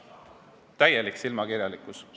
Täielik silmakirjalikkus!